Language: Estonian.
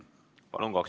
Palun!